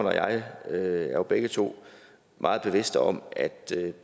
og jeg er jo begge to meget bevidste om at